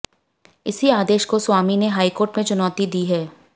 इसी आदेश को स्वामी ने हाईकोर्ट में चुनौती दी है